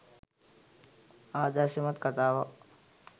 ආදර්ශමත් කතාවක්.